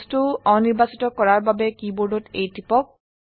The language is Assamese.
বস্তু অনিৰ্বাচিত কৰাৰ বাবে কীবোৰ্ডত A টিপক